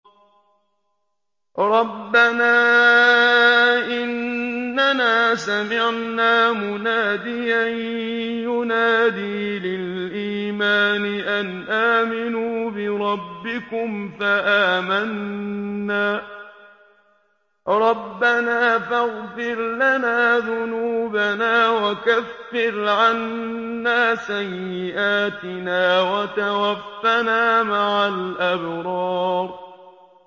رَّبَّنَا إِنَّنَا سَمِعْنَا مُنَادِيًا يُنَادِي لِلْإِيمَانِ أَنْ آمِنُوا بِرَبِّكُمْ فَآمَنَّا ۚ رَبَّنَا فَاغْفِرْ لَنَا ذُنُوبَنَا وَكَفِّرْ عَنَّا سَيِّئَاتِنَا وَتَوَفَّنَا مَعَ الْأَبْرَارِ